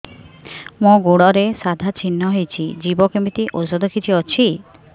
ମୋ ଗୁଡ଼ରେ ସାଧା ଚିହ୍ନ ହେଇଚି ଯିବ କେମିତି ଔଷଧ କିଛି ଅଛି